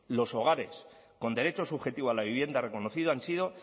los hogares con derecho subjetivo a la vivienda reconocido han sido